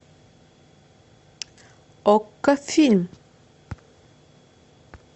окко фильм